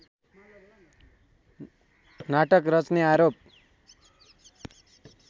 नाटक रच्ने आरोप